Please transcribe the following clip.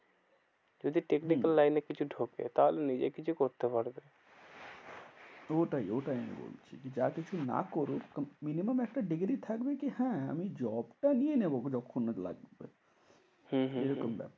যদি technical line হম এ কিছু ঢোকে তাহলে নিজে কিছু করতে পারবে। ওটাই ওটাই আমি বলছি যে, যা কিছু না করুক minimum একটা degree থাকবে। কি হ্যাঁ আমি job টা নিয়ে নেবো যখন হোক লাগবে। হম হম হম এরকম ব্যাপার।